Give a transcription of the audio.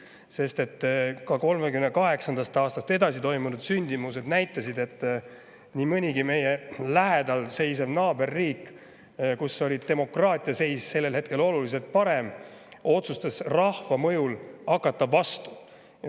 Ka 1938. aastast edasi toimunud sündmused näitasid, et nii mõnigi meie naaberriik, kus oli demokraatia seis sellel hetkel oluliselt parem, otsustas rahva mõjul hakata vastu.